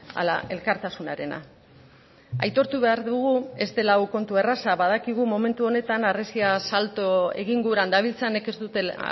ala elkartasunarena aitortu behar dugu ez dela hau kontu erraza badakigu momentu honetan harresia salto egin guran dabiltzanek ez dutela